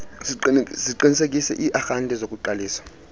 ziqinisekise iiarhente zokuqalisa